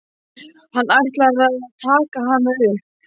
Hann ætlar að taka hana upp.